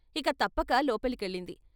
ఇక తప్పక లోపలికెళ్ళింది.